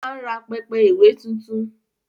O máa ń rà pẹpẹ ìwé tuntun